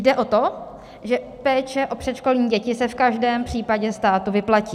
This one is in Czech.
Jde o to, že péče o předškolní děti se v každém případě státu vyplatí.